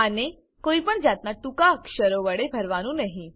આને કોઈપણ જાતનાં ટૂંકાક્ષરો વડે ભરવાનું નહી